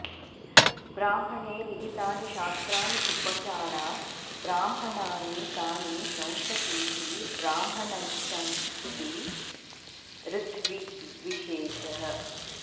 ब्राह्मणे विहितानि शस्त्राणि उपचारात् ब्राह्मणानि तानि शंसतीति ब्राह्मणच्छंसी ऋत्विग्विशेषः